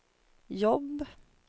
jobb